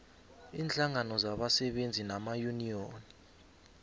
iinhlangano zabasebenzi namayuniyoni